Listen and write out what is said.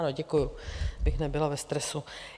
Ano, děkuju, abych nebyla ve stresu.